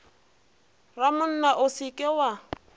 ramonna o se ke wa